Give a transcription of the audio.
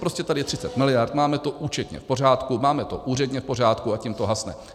Prostě tady je 30 miliard, máme to účetně v pořádku, máme to úředně v pořádku, a tím to hasne.